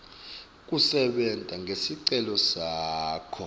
kusebenta ngesicelo sakho